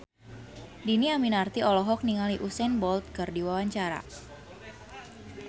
Dhini Aminarti olohok ningali Usain Bolt keur diwawancara